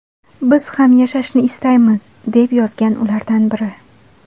Biz ham yashashni istaymiz”, deb yozgan ulardan biri.